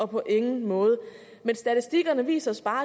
på ingen måde men statistikkerne viser os bare